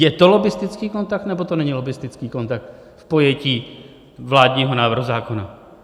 Je to lobbistický kontakt, nebo to není lobbistický kontakt v pojetí vládního návrhu zákona?